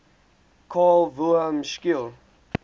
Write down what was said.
carl wilhelm scheele